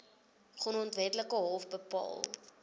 grondwetlike hof bepaal